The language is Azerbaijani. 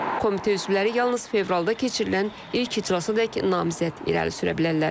Komitə üzvləri yalnız fevralda keçirilən ilk iclasadək namizəd irəli sürə bilərlər.